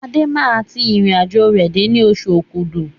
Adé máa tí irin àjò rẹ dé ní oṣù okúdù